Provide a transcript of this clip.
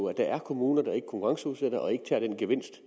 at der er kommuner der ikke konkurrenceudsætter og ikke tager den gevinst